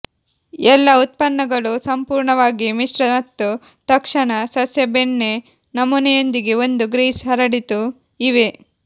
ಎಲ್ಲಾ ಉತ್ಪನ್ನಗಳು ಸಂಪೂರ್ಣವಾಗಿ ಮಿಶ್ರ ಮತ್ತು ತಕ್ಷಣ ಸಸ್ಯ ಬೆಣ್ಣೆ ನಮೂನೆಯೊಂದಿಗೆ ಒಂದು ಗ್ರೀಸ್ ಹರಡಿತು ಇವೆ